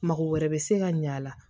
Mago wɛrɛ bɛ se ka ɲɛ a la